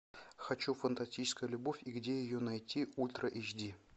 хочу фантастическая любовь и где ее найти ультра эйч ди